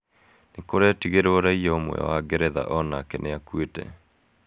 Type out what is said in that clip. Nĩ kũrĩtigerwo raia ũmwe wa Ngeretha o nake nĩ akuĩtĩ.